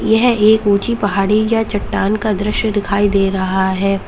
यह एक ऊंची पहाड़ी या चट्टान का दृश्य दिखाई दे रहा है।